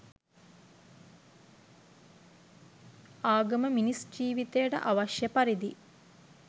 ආගම මිනිස් ජීවිතයට අවශ්‍ය පරිදි